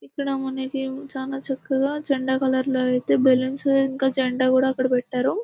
ఇక్కడ మనకి చాలా చక్కగా జెండా కలర్లో అయితే బెలూన్స్ ఇంకా జెండా కూడా అక్కడ పెట్టారు .